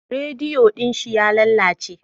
Rediyo din shi ya lalace.